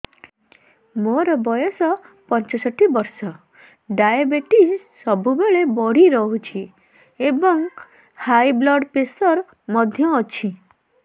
ମୋର ବୟସ ପଞ୍ଚଷଠି ବର୍ଷ ଡାଏବେଟିସ ସବୁବେଳେ ବଢି ରହୁଛି ଏବଂ ହାଇ ବ୍ଲଡ଼ ପ୍ରେସର ମଧ୍ୟ ଅଛି